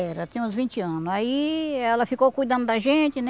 É, ela tinha uns vinte anos, aí ela ficou cuidando da gente, né?